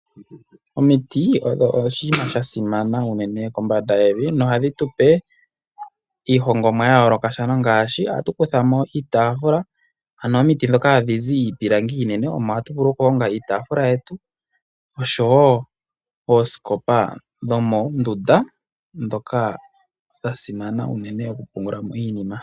Omiti odho oshinima sha simana unene kombanda yevi, nohadhi tu pe iihongomwa ya yoolokathana ngaashi ohatu kutha mo iitaafula, ano omiti ndhoka hadhi zi iipilangi iinene omo hatu vulu oku honga iitaafula yetu oshowo oosikopa dhomoondunda ndhoka dha simana unene oku pungula mo iinima.